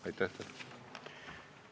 Aitäh!